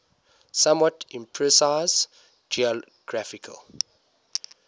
somewhat imprecise geographical